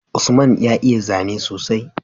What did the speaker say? Usman ya iya zane sosai